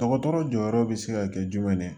Dɔgɔtɔrɔ jɔyɔrɔ bɛ se ka kɛ jumɛn ye